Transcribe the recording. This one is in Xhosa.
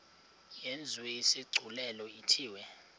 yenziwe isigculelo ithiwe